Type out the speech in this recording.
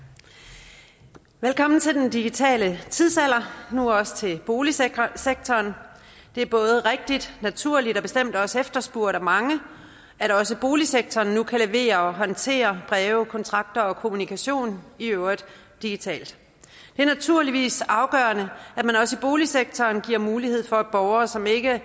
velkommen til den digitale tidsalder nu også til boligsektoren det er både rigtigt naturligt og bestemt også efterspurgt af mange at også boligsektoren nu kan levere og håndtere breve kontrakter og kommunikation i øvrigt digitalt det er naturligvis afgørende at man også i boligsektoren giver mulighed for at borgere som ikke er